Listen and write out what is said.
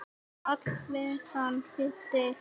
Páll Valsson þýddi.